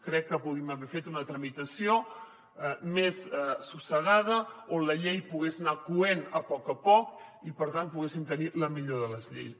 crec que podríem haver fet una tramitació més assossegada on la llei es pogués anar coent a poc a poc i per tant poguéssim tenir la millor de les lleis